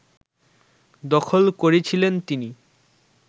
দখল করেছিলেন তিনি